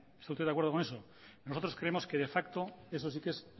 está usted de acuerdo con eso nosotros creemos que de facto eso sí que es